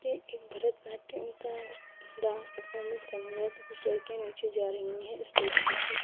ये एक भरत नाट्यम का डांस परफॉर्मेंस करने गए तो कुछ लड़कियां नीचे जा रही है स्टेज पे से --